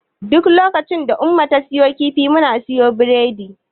Duk lokacin da Umma ta siyo kifi, muna siyo biredi.